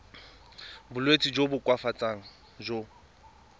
bolwetsi jo bo koafatsang jo